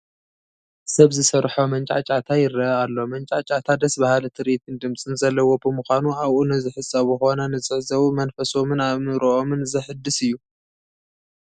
ሰብ ዝሰርሖ መንጫዕጫዕታ ይርአ ኣሎ፡፡ መንጫዕጫዕታ ደስ በሃሊ ትርኢትን ድምፅን ዘለዎ ብምዃኑ ኣብኡ ንዝሕፀቡ ኾነ ንዝዕዘቡ መንፈሶምን ኣእምሮኦምን ዘሕድስ እዩ፡፡